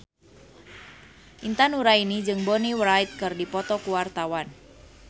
Intan Nuraini jeung Bonnie Wright keur dipoto ku wartawan